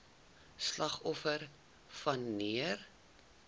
slagoffers wan neer